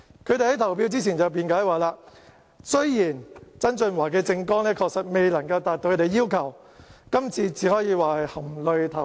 他們在投票之前辯解說，雖然曾俊華的政綱確實未能夠達到他們的要求，但只可以說是含淚投票。